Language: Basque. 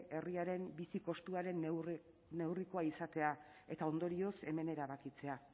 herriaren bizi kostuaren neurrikoa izatea eta ondorioz hemen erabakitzea